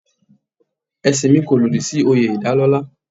Ẹ̀sìn mi kò lòdì sí oyè ìdálọ́lá.